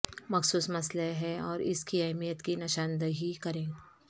مخصوص مسئلہ ہے اور اس کی اہمیت کی نشاندہی کریں